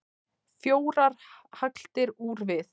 Fjórar hagldir úr við.